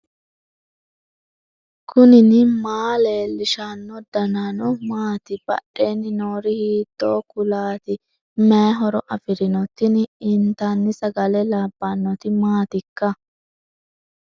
knuni maa leellishanno ? danano maati ? badheenni noori hiitto kuulaati ? mayi horo afirino ? tini intanni sagale labbannoti maatikka